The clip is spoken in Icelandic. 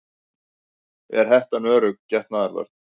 Er hettan örugg getnaðarvörn?